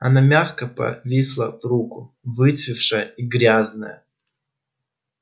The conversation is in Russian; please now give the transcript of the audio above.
она мягко повисла в руку выцветшая и грязная